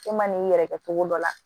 E ma n'i yɛrɛ kɛ cogo dɔ la